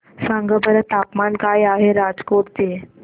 सांगा बरं तापमान काय आहे राजकोट चे